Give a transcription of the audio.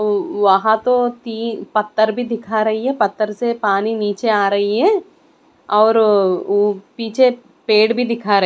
ओ वहां तो तीन पत्थर भी दिखा रही है पत्थर से पानी निचे आ रही है और ओ पीछे पेड़ भी दिखा रहा--